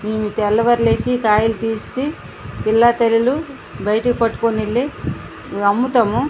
తెల్లవారు లేసి కాయలు తీసి పిల్ల తల్లులు బయటికి పట్టుకుని వెళ్లి అమ్ముతాము.